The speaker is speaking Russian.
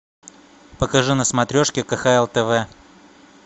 покажи на смотрешке кхл тв